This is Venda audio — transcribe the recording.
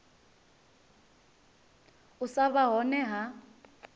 u sa vha hone ha